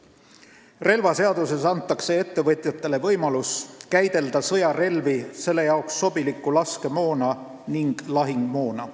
Relvaseaduses antakse ettevõtjatele võimalus käidelda sõjarelvi, nende jaoks sobilikku laskemoona ning lahingumoona.